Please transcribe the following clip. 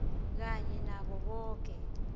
kanye nabo boke